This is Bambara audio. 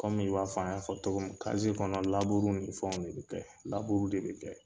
Kɔmi i b'a fɔ an y'a fɔ tɔgɔ mi kazi kɔnɔ laburuw ni fɛnw de be kɛ laburuw de be kɛ